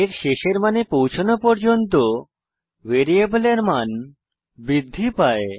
এর শেষের মানে পৌঁছনো পর্যন্ত ভ্যারিয়েবলের মান বৃদ্ধি পায়